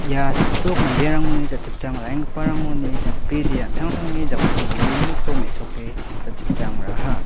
ia sakdok manderangoni jachipchang ra·enggiparangoni sakbride an·tangtangni jaksi ge·gniko mesoke jachipchang ra·aha.